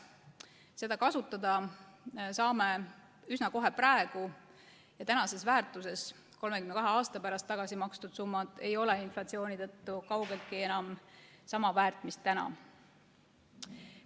Seda raha saame me kasutada üsna kohe praegu, aga 32 aasta pärast ei ole tagasi makstavad summad inflatsiooni tõttu kaugeltki enam sama palju väärt kui praegu.